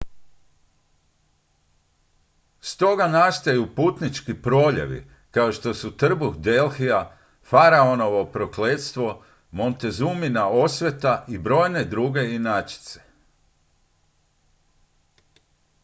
stoga nastaju putnički proljevi kao što su trbuh delhija faraonovo prokletstvo montezumina osveta i brojne druge inačice